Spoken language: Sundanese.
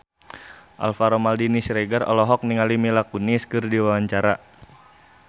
Alvaro Maldini Siregar olohok ningali Mila Kunis keur diwawancara